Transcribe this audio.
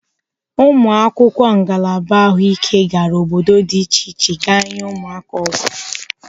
Ụmụakwụkwọ ngalaba Ahụike gara obodo dị iche iche ga nyee ụmụaka ọgwụ.